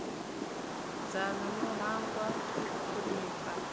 dzanu no hangwa u thonifha